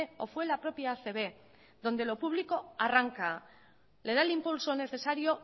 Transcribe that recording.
o fue la propia acb donde lo público arranca le da el impulso necesario